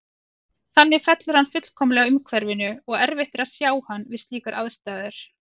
Þannig fellur hann fullkomlega að umhverfinu og erfitt er að sjá hann við slíkar aðstæður.